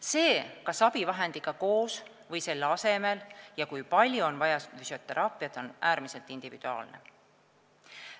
See, kas abivahendiga koos või selle asemel ja kui palju on füsioteraapiat vaja, on äärmiselt individuaalne.